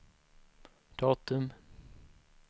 datum